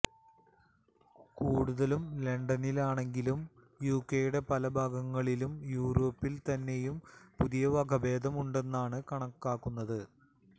കൂടുതലും ലണ്ടനിലാണെങ്കിലും യുകെയുടെ പല ഭാഗങ്ങളിലും യൂറോപ്പിൽ തന്നെയും പുതിയ വകഭേദം ഉണ്ടെന്നാണ് കണക്കാക്കുന്നത്